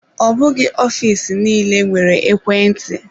Ọ bụghị ofiisi nille nwere ekwe ntị.